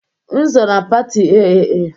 M so na pati AAA